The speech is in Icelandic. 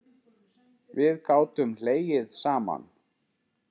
Við gátum hlegið saman.